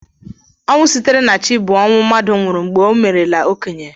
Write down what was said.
Ọnwụ sitere na Chi bụ ọnwụ mmadụ nwụrụ mgbe o meerela okenye